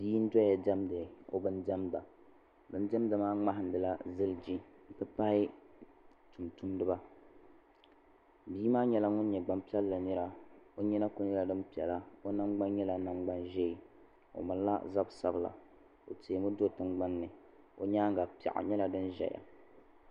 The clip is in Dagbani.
Bia n doya diɛmda o bini diɛmda bini diɛmda maa mŋahin di la ziliji n ti pahi tumtumdiba bia maa yɛla ŋuni nyɛ gbaŋ piɛlli nira o yina kuli yɛla dini piɛlla o nangbani yɛla nangbani zɛɛ o mali la zabi sabila o tɛɛ mi do' tiŋgbani o yɛanga piɛɣu yɛla dini zɛya.